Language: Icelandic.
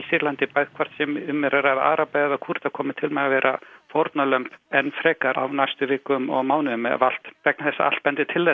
Sýrlandi hvort sem um er að ræða araba eða Kúrda koma til með að vera fórnarlömb enn frekar á næstu vikum og mánuðum vegna þess að allt bendir til